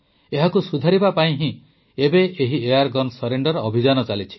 ଏହାକୁ ସୁଧାରିବା ପାଇଁ ହିଁ ଏବେ ଏହି ଏୟାର୍ଗନ ସରେଣ୍ଡର୍ ଅଭିଯାନ ଚାଲିଛି